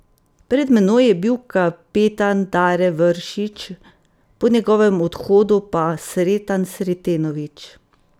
Pred menoj je bil kapetan Dare Vršič, po njegovem odhodu pa Sreten Sretenović.